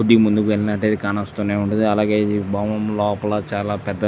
ఇది ముందుగానే కనొస్తున్నటు ఉంది అలాగే ఇది బౌండ్ లోపల చాల పెద్ద --